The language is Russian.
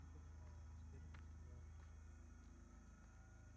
не понимаю растерянно сказал я